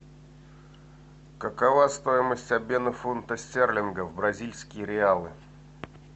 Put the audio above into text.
какова стоимость обмена фунта стерлингов в бразильские реалы